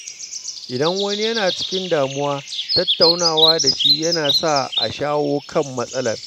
Idan wani yana cikin damuwa, tattaunawa da shi yana sa a shawo kan matsalar.